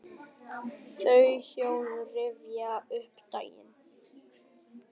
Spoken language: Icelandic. Þau hjón rifja upp daginn.